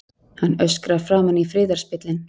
Hann öskrar framan í friðarspillinn.